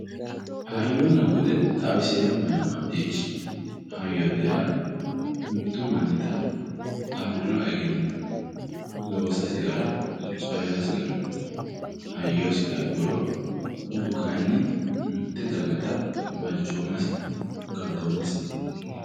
Hayyonna bude xawiseemmohenna maccishshi ,hayyote yaa mitu mannitta afirino egenno loossasi gara coyrasi gara hayyosi labburo budu kayinni mite dagatta balchomasi galtomasiti.